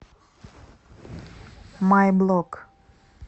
май блок